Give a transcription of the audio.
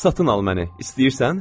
Satın al məni, istəyirsən?